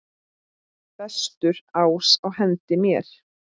Bestur ás á hendi mér.